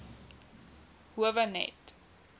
howe net